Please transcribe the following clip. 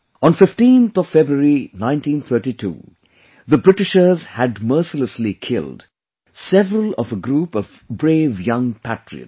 On 15th of February 1932, the Britishers had mercilessly killed several of a group of brave young patriots